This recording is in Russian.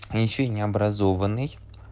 а ещё и не образованный